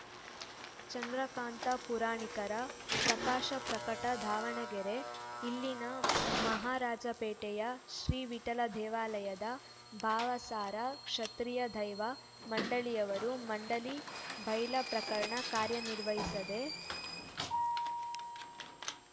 ಚಂದ್ರಕಾಂತ ಪುರಾಣಿಕರ ಪ್ರಕಾಶ ಪಟಕೆ ದಾವಣಗೆರೆ ಇಲ್ಲಿನ ಮಹಾರಾಜಪೇಟೆಯ ಶ್ರೀ ವಿಠಲ ದೇವಾಲಯದ ಭಾವಸಾರ ಕ್ಷತ್ರಿಯ ದೈವ ಮಂಡಳಿಯವರು ಮಂಡಳಿ ಬೈಲಾ ಪ್ರಕಾರ ಕಾರ್ಯ ನಿರ್ವಹಿಸದೇ